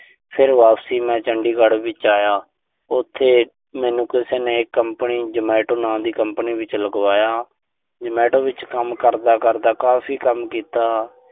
ਫਿਰ ਵਾਪਸ ਮੈਂ ਚੰਡੀਗੜ ਵਿੱਚ ਆਇਆ। ਉਥੇ ਮੈਨੂੰ ਕਿਸੇ ਨੇ ਕੰਪਨੀ ਜਮੈਟੋ ਨਾਮ ਦੀ ਕੰਪਨੀ ਵਿੱਚ ਲਗਵਾਇਆ। ਜਮੈਟੋ ਵਿੱਚ ਕੰਮ ਕਰਦਾ-ਕਰਦਾ, ਕਾਫ਼ੀ ਕੰਮ ਕੀਤਾ।